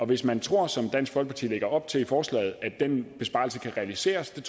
hvis man tror som dansk folkeparti lægger op til i forslaget at den besparelse kan realiseres og